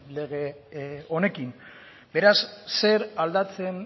lege honekin beraz zer aldatzen